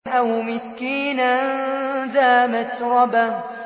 أَوْ مِسْكِينًا ذَا مَتْرَبَةٍ